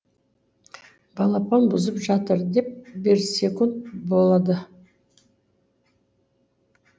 балапан бұзып жатыр деп берсекунд болады